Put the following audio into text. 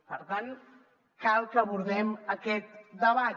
per tant cal que abordem aquest debat